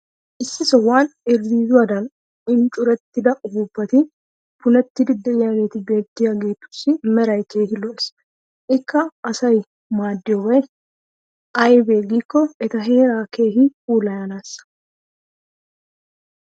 issi sohuwan irzziizzuwaadan enccurettida upuuppati punettidi diyaageeti beetiyaageetussi meray keehi lo'ees. ikka asaa maadiyobay aybee giikko eta heeraa keehi puulayanaassa.